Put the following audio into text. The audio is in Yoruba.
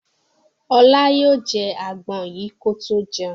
Ọlá yóò jẹ àgbọn yìí kó tó jẹun.